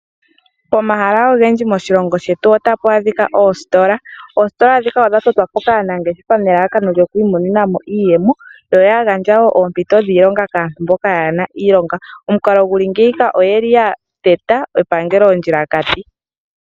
Pomahala ogendji moshilongo shetu otapa adhika oositola. Oositola ndhika odhatotwapo kaanangeshefa nelalakano lyokwiimonena mo iiyemo. Oyagandja wo ompito yiilonga kaantu mboka kaayena iilonga. Omukalo nguka oya teta epangelo ondjilakati.